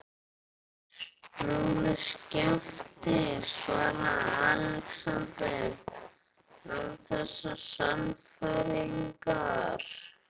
Snúðu skafti, svaraði Andri, en án sannfæringar.